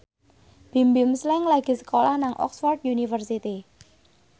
Bimbim Slank lagi sekolah nang Oxford university